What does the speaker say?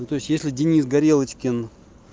ну то есть если денис горелочкин